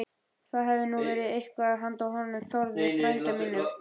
Það hefði nú verið eitthvað handa honum Þórði frænda mínum!